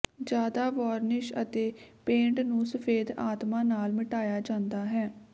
ਜ਼ਿਆਦਾ ਵਾਰਨਿਸ਼ ਅਤੇ ਪੇਂਟ ਨੂੰ ਸਫੈਦ ਆਤਮਾ ਨਾਲ ਮਿਟਾਇਆ ਜਾਂਦਾ ਹੈ